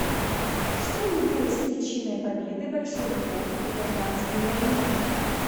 что явилось причиной победы большевиков в гражданской войне